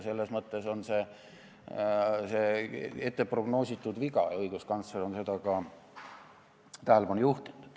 Selles mõttes on see prognoositud viga, ka õiguskantsler on sellele tähelepanu juhtinud.